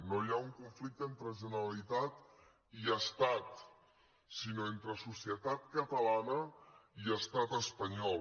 no hi ha un conflicte entre generalitat i estat sinó entre societat catalana i estat espanyol